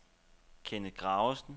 Kenneth Graversen